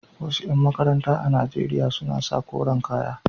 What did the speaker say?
Wasu ƴan makaranta a Najeriya suna sa koren kaya.